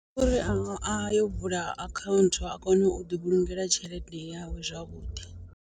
Ndi uri a yo vula akhaunthu a kone u ḓi vhulungela tshelede yawe zwavhuḓi.